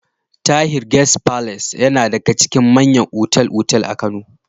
Tahir Guest Palace yana daga cikin manyan otal-otal a Kano.